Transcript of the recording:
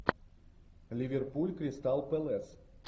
ливерпуль кристал пэлас